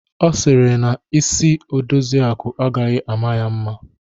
Ọ sịrị na isi Odoziakụ agaghị ama ya mma.